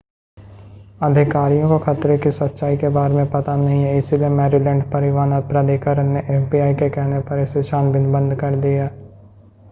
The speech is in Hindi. अधिकारियों को खतरे की सच्चाई के बारे में पता नहीं है इसलिए मैरीलैंड परिवहन प्राधिकरण ने एफबीआई के कहने पर इसकी छानबीन बंद कर दी है